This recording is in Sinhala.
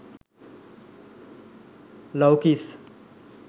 love kiss